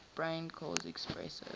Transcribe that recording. brain cause expressive